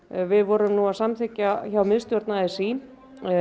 við vorum að samþykkja hjá miðstjórn a s í